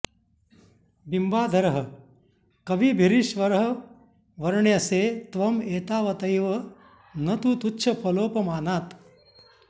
बिम्बाधरः कविभिरीश्वर वर्ण्यसे त्वं एतावतैव न तु तुच्छफलोपमानात्